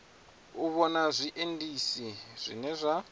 u vhona zwiendisi zwine zwa